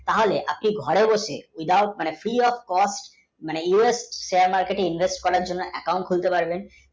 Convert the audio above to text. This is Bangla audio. তাহলে আপনি ঘরে বসে just, free, of, costUSstock, marketinvest করার জন্যে account লাগবে